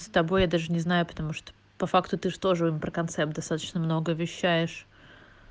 с тобой я даже не знаю потому что по факту ты же тоже про концепт достаточно много обещаешь